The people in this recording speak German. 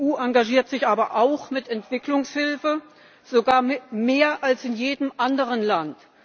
Die EU engagiert sich aber auch mit Entwicklungshilfe, sogar mehr als in jedem anderen Land.